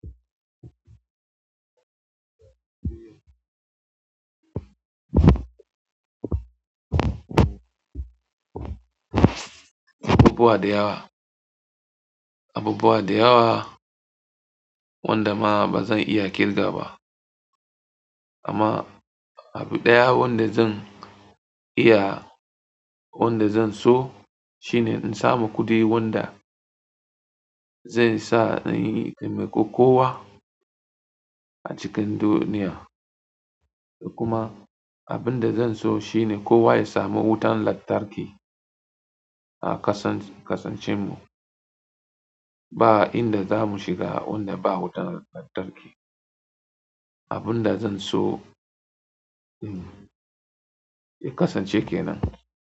Abubuwa da yawa abubuwa da yawa wanda ma bazan iya kigawa ba amma abu ɗaya wanda zan iya, wanda zan so shine in samu kuɗi wanda zai sa ni in taimako kowa a cikin duniya. Kuma abin da zan so shine kowa ya sami wutan lantarki a kasance, kasancewanmu. Ba inda za mu shiga wanda ba wutan lantarki. Abin da zan so, kasance kenan.